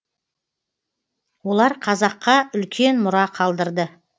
олар қазаққа үлкен мұра қалдырды